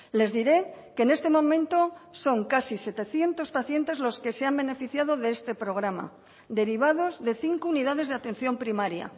les diré que en este momento son casi setecientos pacientes los que se han beneficiado de este programa derivados de cinco unidades de atención primaria